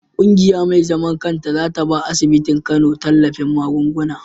Kungiya me zaman kanta zata bawa asibitin kano tallafin magunguna